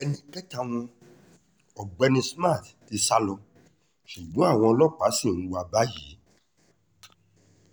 ẹnì kẹta wọn ọ̀gbẹ́ni smart ti sá lọ ṣùgbọ́n àwọn ọlọ́pàá ṣì ń wá a báyìí